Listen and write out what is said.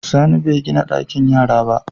Sani begina ɗakin yara ba